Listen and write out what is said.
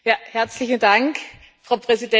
Frau Präsidentin, Herr Kommissar!